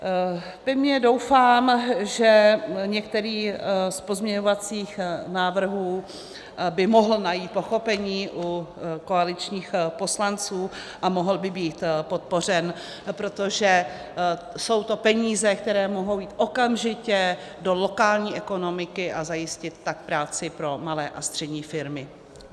Pevně doufám, že některý z pozměňovacích návrhů by mohl najít pochopení u koaličních poslanců a mohl by být podpořen, protože jsou to peníze, které mohou jít okamžitě do lokální ekonomiky, a zajistit tak práci pro malé a střední firmy.